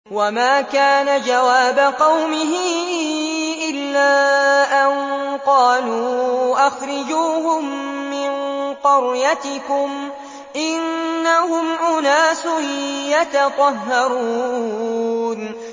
وَمَا كَانَ جَوَابَ قَوْمِهِ إِلَّا أَن قَالُوا أَخْرِجُوهُم مِّن قَرْيَتِكُمْ ۖ إِنَّهُمْ أُنَاسٌ يَتَطَهَّرُونَ